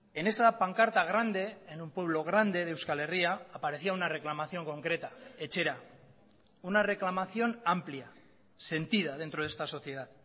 en esa pancarta grande en un pueblo grande de euskal herria aparecía una reclamación concreta etxera una reclamación amplia sentida dentro de esta sociedad